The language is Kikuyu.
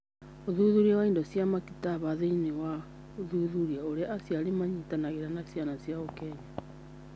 Ũthuthuria wa indo cia maktaba thĩinĩ wa gũthuthuria ũrĩa aciari manyitanagĩra na ciana ciao Kenya.